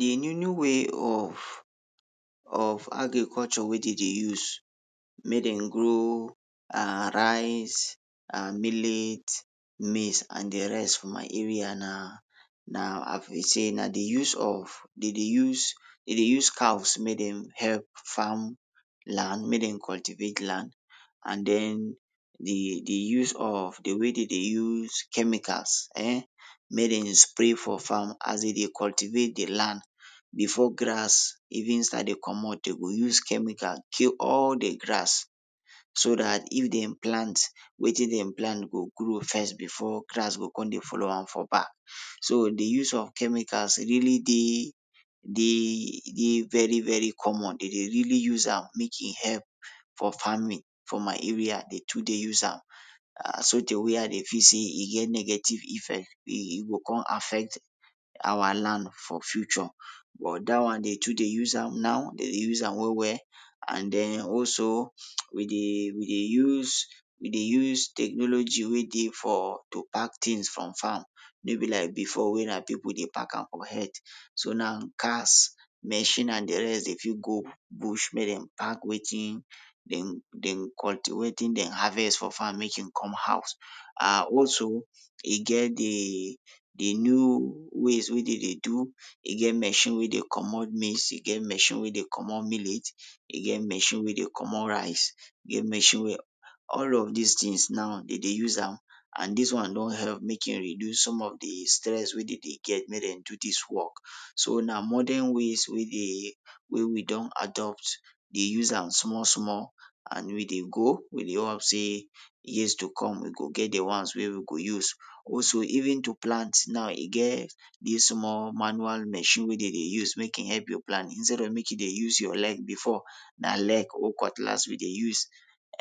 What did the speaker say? De new new way of of agriculture wey dey dey use make den grow um rice and millet, maize and de rest for my area na, na as we sey na de use of, dey dey use, dey dey use house make dem help farm land, make dem cultivate land and den de de use of, de way dey dey use chemicals um make dem spray for farm as den dey cultivate de land before grass, even start to dey comot den go use chemical kill all de grass. So dat if dem plant, wetin dem plant go grow first before grass go kon dey follow am for back. So de use of chemicals dey really dey, dey very very common, den dey really use am make e help for farming, for my area dey too dey use am. um sotey i dey feel sey e get negative effect, e e go kon affect our land for future but dat one dey too dey use am now, dey dey use am well well, and den also we dey we dey use we dey use technology wey dey for to pack tins from farm wey be like before wey na pipul dey pack am for head. So now cars, machine and de rest dey fit go go bush make dem pack wetin, dem dem wetin dem harvest for farm make dem come house. um also, e get dey, dey new ways wey dey dey do, e get machine wey dey comot maize, e get machine wey dey comot millet, e machine wey dey comot rice, e get machine wey all of dis tins now dey dey use am and dis one don help make e reduce some of dey stress wey dey dey get make dem do dis work So na modern ways wey dey, wey we don adopt dey use am small small and we dey go we dey hope sey years to come we go get de ones wey we go use. Also, even to plant now e get dis small manual machine wey dey dey use make e help you plant instead of you to dey use your leg before, na leg or cutlass we dey use.